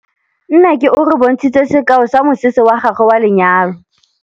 Nnake o re bontshitse sekaô sa mosese wa gagwe wa lenyalo.